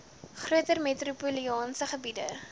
groter metropolitaanse gebiede